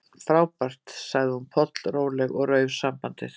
Frábært- sagði hún pollróleg og rauf sambandið.